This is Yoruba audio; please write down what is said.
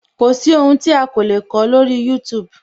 Kò sí ohun tí a o lè kọ lórí youtube